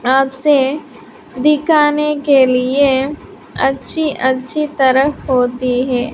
आप से दिखाने के लिए अच्छी अच्छी तरफ होती है।